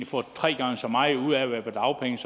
får tre gange så meget ud af at være på dagpenge